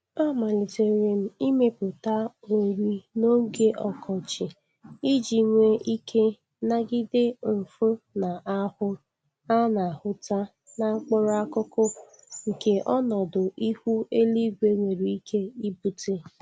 Amalitere m imepụta ori n'oge ọkọchị iji nwee ike nagide nfu ndi ahụ a na-ahụta na mkpụrụ akụkụ nke ọnọdụ ihu eluigwe nwere ike ibute.